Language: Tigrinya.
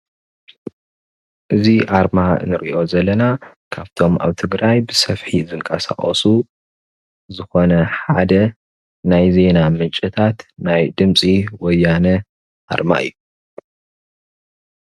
እዚ ኣርማ እንሪኦ ዘለና ካብቶምኣብ ትግራይ ብሰፊሕ ዝንቐሳቀሱ ዝኾነ ሓደ ናይ ዜና ምንጭታት ናይ ድምፂ ወያነ ኣርማ እዩ፡፡